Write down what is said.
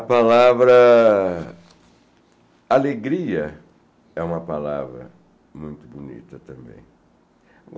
A palavra alegria é uma palavra muito bonita também.